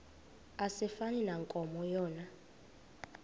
asifani nankomo yona